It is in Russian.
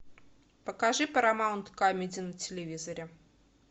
покажи парамаунт камеди на телевизоре